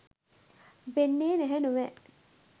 වෙන්නේ නැහැ නොවැ.